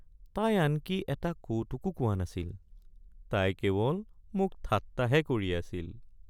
তাই আনকি এটা কৌতুকো কোৱা নাছিল, তাই কেৱল মোক ঠাট্টাহে কৰি আছিল।